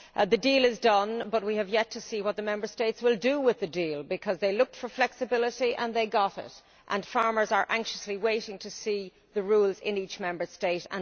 The deal is done, but we have yet to see what the Member States will do with the deal, because they looked for flexibility and they got it, and farmers are now anxiously waiting to see the rules in each Member State.